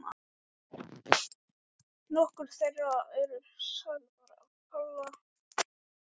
Nokkrar þeirra eru sagðar af Páli sem er sögumaður í